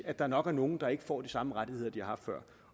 at der nok er nogle der ikke får de samme rettigheder som de har haft før